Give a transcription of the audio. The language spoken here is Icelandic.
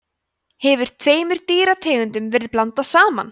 hefur tveimur dýrategundum verið blandað saman